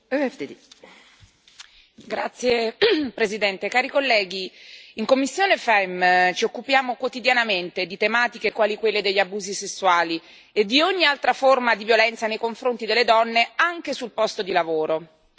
Signora Presidente, onorevoli colleghi, in commissione FEMM ci occupiamo quotidianamente di tematiche quali quelle degli abusi sessuali e di ogni altra forma di violenza nei confronti delle donne, anche sul posto di lavoro.